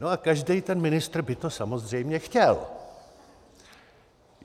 No a každý ten ministr by to samozřejmě chtěl.